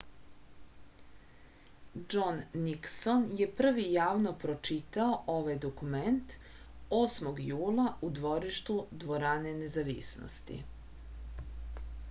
džon nikson je prvi javno pročitao ovaj dokument 8. jula u dvorištu dvorane nezavisnosti